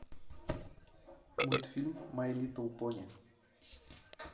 мультфильм май литл пони